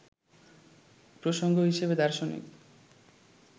প্রসঙ্গ হিসেবে দার্শনিক